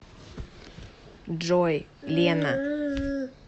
джой лена